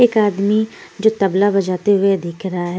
एक आदमी जो तबला बजाते हुए दिख रहा है।